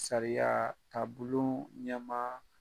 Sariyatabulon ɲamaa